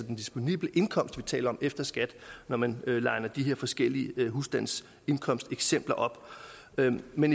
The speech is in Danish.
den disponible indkomst vi taler om altså efter skat når man liner de her forskellige husstandsindkomsteksempler op men med